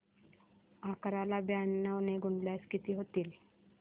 अकरा ला ब्याण्णव ने गुणल्यास किती होतील